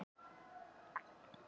Fornir tímar.